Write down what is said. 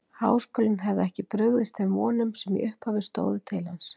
Háskólinn hefði ekki brugðist þeim vonum, sem í upphafi stóðu til hans.